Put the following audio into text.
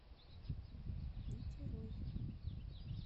нитерой